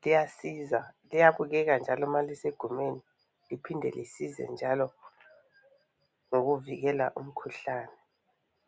liyasiza liyabukeka njalo uma lisegumeni liphinde lisize njalo ngokuvikela umkhuhlane.